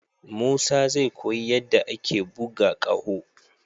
Musa zai koyi yadda ake buga ƙaho.